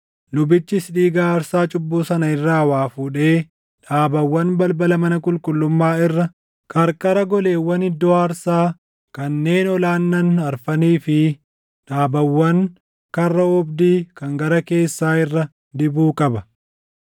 Lubichis dhiiga aarsaa cubbuu sana irraa waa fuudhee dhaabawwan balbala mana qulqullummaa irra, qarqara goleewwan iddoo aarsaa kanneen ol aannan afranii fi dhaabawwan karra oobdii kan gara keessaa irra dibuu qaba.